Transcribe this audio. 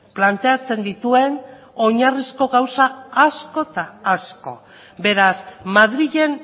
planteatzen dituen oinarrizko gauza asko eta asko beraz madrilen